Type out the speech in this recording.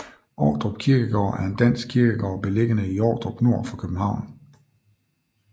Ordrup Kirkegård er en dansk kirkegård beliggende i Ordrup nord for København